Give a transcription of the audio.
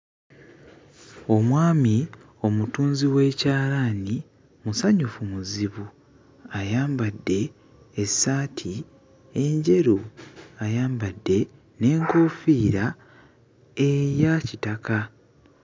Omwami omutunzi w'ekyalaani musanyufu muzibu ayambadde essaati enjeru ayambadde n'enkoofiira eya kitaka.